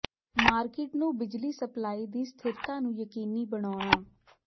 market ਨੂੰ ਬਿਜਲੀ supply ਦੀ ਸਥਿਰਤਾ ਨੂੰ ਯਕੀਨੀ ਬਣਾਉਣਾ